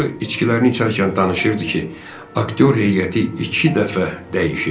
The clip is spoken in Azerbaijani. O içkilərini içərkən danışırdı ki, aktyor heyəti iki dəfə dəyişib.